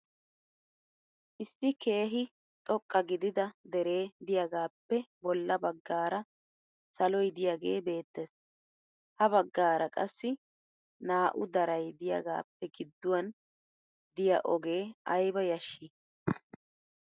Issi keehi xoqqa gidida deree diyagaappe bolla baggaara saloy diyagee beettes. Ha baggaara qassi naa'u daray diyagaappe gidduwan diya ogee ayiba yashshii!